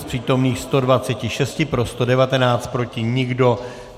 Z přítomných 126 pro 119, proti nikdo.